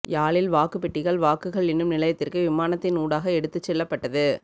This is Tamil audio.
யாழில் வாக்குப்பெட்டிகள் வாக்குகள் எண்ணும் நிலையத்திற்கு விமானத்தின் ஊடாக எடுத்துச் செல்லப்பட்டது